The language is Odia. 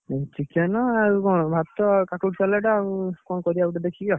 Chicken ଆଉ କଣ ଭାତ କାକୁଡି salad ଆଉ କଣ କରିଆ ଗୋଟେ ଦେଖିକି ଆଉ।